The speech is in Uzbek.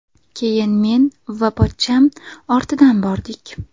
Keyin men va pochcham ortidan bordik.